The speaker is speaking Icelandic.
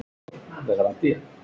Nú, hvað er þetta þá?